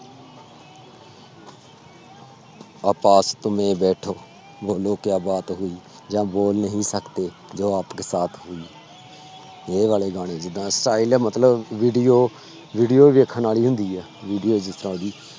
ਆਹ ਪਾਸ ਤੁਮੇ ਬੈਠੋ ਬੋਲੋ ਕਿਆ ਬਾਤ ਹੋਈ ਜਾਂ ਬੋਲ ਨਹੀਂ ਸਕਤੇ ਜੋ ਆਪਕੇ ਸਾਥ ਹੋਈ ਇਹ ਵਾਲੇ ਗਾਣੇ ਜਿੱਦਾਂ style ਹੈ ਮਤਲਬ video video ਵੇਖਣ ਵਾਲੀ ਹੁੰਦੀ ਹੈ video ਜਿਸ ਤਰ੍ਹਾਂ ਉਹਦੀ